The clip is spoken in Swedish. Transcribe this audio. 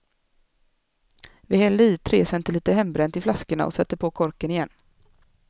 Vi hällde i tre centiliter hembränt i flaskorna och satte på korken igen.